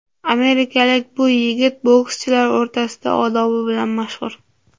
Amerikalik bu yigit bokschilar o‘rtasida odobi bilan mashhur.